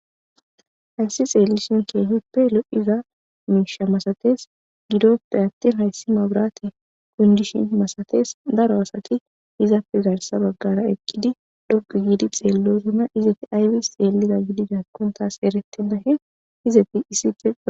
Hayssi xellishe kehipe lo'iza mishsha massates gidoppe attin haysi mabirrate kundishin massates daro asati izape garssa baggara eqqidi dhoqqu gidi xellosona izati aybissi xellida gididakone tassi erettena izati issipe.